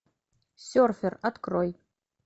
серфер открой